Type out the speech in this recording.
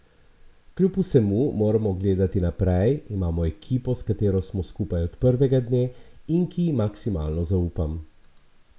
Kljub vsemu moramo gledati naprej, imamo ekipo, s katero smo skupaj od prvega dne in, ki ji maksimalno zaupam.